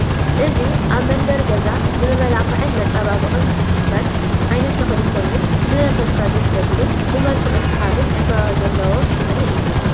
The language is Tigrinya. እዚ ኣብ መንበሪ ገዛ ንመመላኽዕን መፀባበቕን ዝትከል ዓይነት ተኽሊ ኮይኑ ንመንፈስካ ደስ ዘብልን ብመልክዑ ሳሓብን ዕንበባ ዘለዎ ናይ ተኽሊ እዩ፡፡